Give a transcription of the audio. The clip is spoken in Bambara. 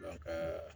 Dɔn ka